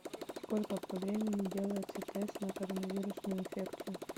сколько по времени делается тест на короновирусную инфекцию